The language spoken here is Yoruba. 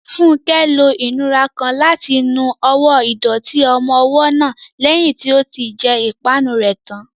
Funke lo ìnura kan láti nu ọwọ́ ìdọ̀tí ọmọ ọwọ́ náà lẹ́yìn tí ó ti jẹ ìpanu rẹ̀ tán.